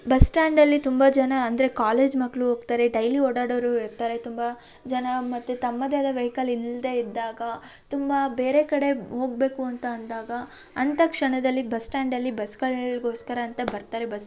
bus stand ಅಲ್ಲಿ ತುಂಬ ಜನ ಅಂದ್ರೆ ಕಾಲೇಜ್ ಮಕ್ಳು ಹೋಗ್ತಾರೆ ಡೈಲಿ ಓಡಾಡವ್ರು ಇರ್ತಾರೆ ತುಂಬ ಜನ ಮತ್ತೆ ತಮ್ಮದೇ ಆದ ವೆಹಿಕಲ್ ಇಲ್ಲದೆ ಇದ್ದಾಗ ತುಂಬ ಬೇರೆ ಕಡೆ ಹೋಗ್ಬೇಕು ಅಂತ ಅಂದಾಗ ಅಂತ ಕ್ಷಣದಲ್ಲಿ ಬಸ್ಟ್ಯಾಂಡ್ ಅಲ್ಲಿ ಬಸ್ಗಳಗೋಸ್ಕರ ಅಂತ ಬರ್ತಾರೆ ಬಸ್ಸಲ್ಲಿ --